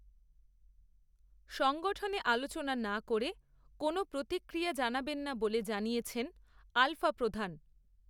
সংগঠনে আলোচনা না করে, কোনও প্রতিক্রিয়া জানাবেন না বলে জানিয়েছেন, আলফাপ্রধান